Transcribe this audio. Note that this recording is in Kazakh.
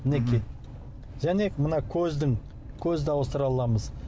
мінекей және мына көздің көзді ауыстыра аламыз